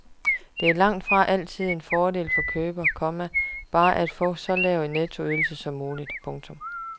Men det er langt fra altid en fordel for køber, komma bare at få en så lav nettoydelse som muligt. punktum